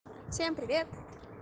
всем привет